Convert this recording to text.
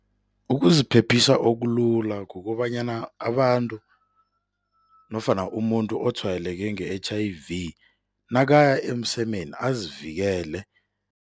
Ukuziphephisa okulula kukobanyana abantu nofana umuntu otshwayeleke nge-H_I_V, nakaya emsemeni azivikele.